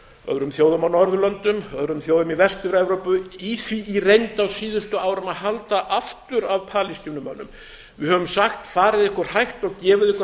öðrum þjóðum á norðurlöndum öðrum þjóðum í vestur evrópu í því í reynd á síðustu árum að halda aftur af palestínumönnum við höfum sagt farið ykkur hægt og gefið ykkur